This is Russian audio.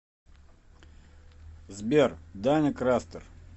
сбер даня крастер